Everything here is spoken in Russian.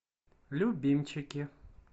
любимчики